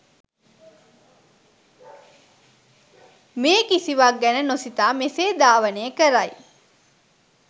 මේ කිසිවක් ගැන නොසිතා මෙසේ ධාවනය කරයි.